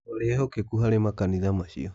Twarĩ ehokeku harĩ makanitha macio